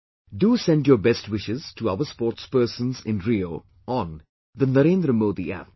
Do send your best wishes to our sportspersons in Rio on the 'NarendraModi App'